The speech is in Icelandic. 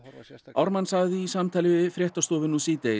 Ármann sagði í samtali við fréttastofu